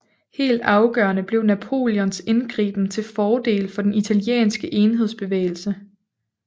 Helt afgørende blev Napoleons indgriben til fordel for den italienske enhedsbevægelse